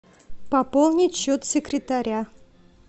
пополнить счет секретаря